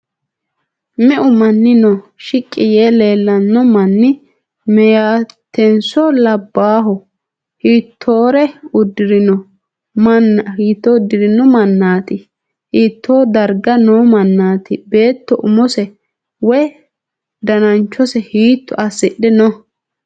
Meu manni no? Shiqqi yee leellanno manni meeyatenso labbayho? Hiittoore uddirinno mannaaati? Hiittoo darga noo mannaati? Beetto umose woy dananchose hiitto assidhe no?